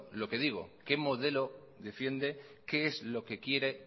lo que digo qué modelo defiende qué es lo que quiere